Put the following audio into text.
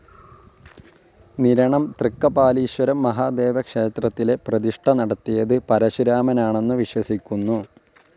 നിരണം തൃക്കപാലീശ്വരം മഹാദേവക്ഷേത്രത്തിലെ പ്രതിഷ്ഠ നടത്തിയത് പരശുരാമനാണന്നു വിശ്വസിക്കുന്നു.